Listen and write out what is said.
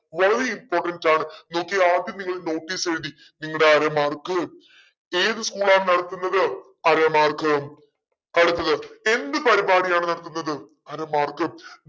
വളരെ important ആണ് നോക്കിയെ ആദ്യം നിങ്ങൾ notice എഴുതി നിങ്ങടെ അര mark ഏത് school ആ നടത്തുന്നത് അര mark അടുത്തത് എന്ത് പരിപാടിയാണ് നടത്തുന്നത് അര mark